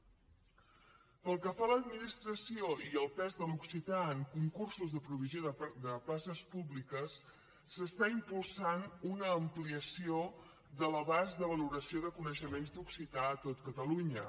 pel que fa a l’administració i el pes de l’occità en concursos de provisió de places públiques s’està impulsant una ampliació de l’abast de valoració de coneixements d’occità a tot catalunya